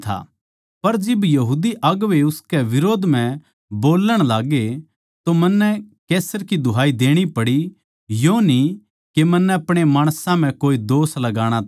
पर जिब यहूदी अगुवें इसकै बिरोध म्ह बोल्लण लाग्गे तो मन्नै कैसर की दुहाई देणी पड़ी यो न्ही के मन्नै अपणे माणसां पै कोई दोष लाणा था